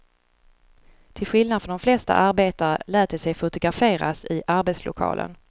Till skillnad från de flesta arbetare lät de sig fotograferas i arbetslokalen.